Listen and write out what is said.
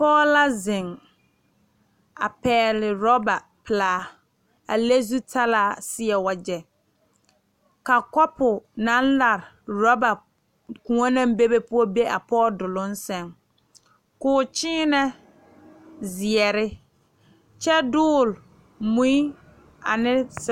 Pɔge la zeŋ a pɛgle orɔba pelaa a le zutalaa seɛ wagyɛ ka kɔpo naŋ lare orɔba koɔ naŋ bebe poɔ be a pɔge doloŋ seŋ k,o kyeenɛ zeɛre kyɛ dogle mui ane.